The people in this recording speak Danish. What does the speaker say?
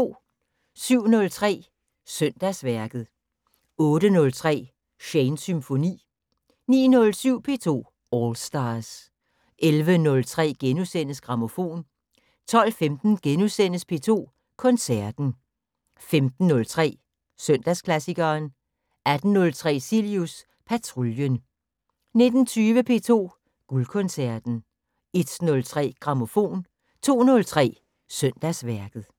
07:03: Søndagsværket 08:03: Shanes Symfoni 09:07: P2 All Stars 11:03: Grammofon * 12:15: P2 Koncerten * 15:03: Søndagsklassikeren 18:03: Cilius Patruljen 19:20: P2 Guldkoncerten 01:03: Grammofon 02:03: Søndagsværket